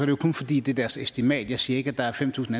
jo kun fordi det er deres estimat jeg siger ikke at der er fem tusind